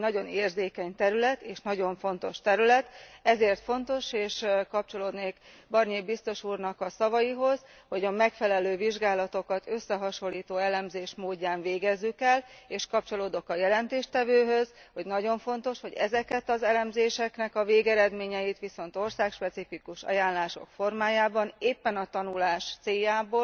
Ez egy nagyon érzékeny terület, és nagyon fontos terület, ezért fontos, és kapcsolódnék Barnier biztos úrnak a szavaihoz, hogy a megfelelő vizsgálatokat összehasonlító elemzés módján végezzük el, és kapcsolódok a jelentéstevőhöz, hogy nagyon fontos, hogy ezeknek az elemzéseknek a végeredményeit viszont országspecifikus ajánlások formájában éppen a tanulás céljából